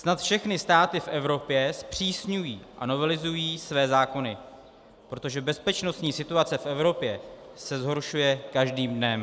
Snad všechny státy v Evropě zpřísňují a novelizují své zákony, protože bezpečnostní situace v Evropě se zhoršuje každým dnem.